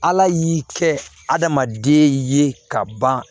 Ala y'i kɛ adamaden ye ka ban